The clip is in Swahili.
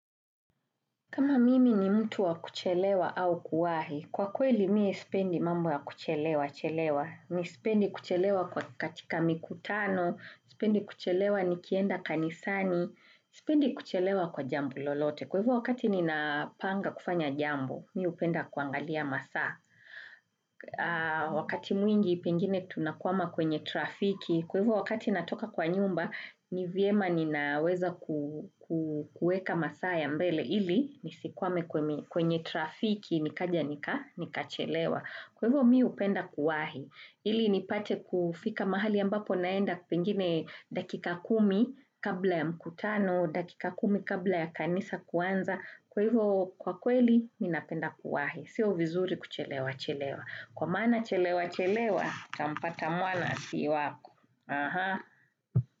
Kama mimi ni mtu wa kuchelewa au kuwahi, kwa kweli miye sipendi mambo ya kuchelewa chelewa. Mi spendi kuchelewa kwa katika mikutano, spendi kuchelewa nikienda kanisani, spendi kuchelewa kwa jambo lolote. Kwa hivyo wakati nina panga kufanya jambo, mi upenda kuangalia masaa. Wakati mwingi pengine tunakwama kwenye trafiki Kwa hivyo wakati natoka kwa nyumba, ni vyema ninaweza kuweka masaa ya mbele Ili nisikwame kwenye trafiki nikaja nika, nikachelewa. Kwa hivyo mi upenda kuwahi. Ili nipate kufika mahali ambapo naenda pengine dakika kumi kabla ya mkutano, dakika kumi kabla ya kanisa kuanza Kwa hivyo kwa kweli, mi napenda kuwahi. Sio vizuri kuchelewa chelewa. Kwa maana chelewa chelewa kampata mwana si wako. Aha.